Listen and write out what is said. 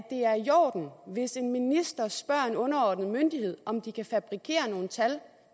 en minister spørger en underordnet myndighed om den kan fabrikere nogle tal